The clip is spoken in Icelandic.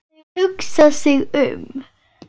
Þau hugsa sig um.